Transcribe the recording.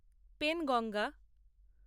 Penganga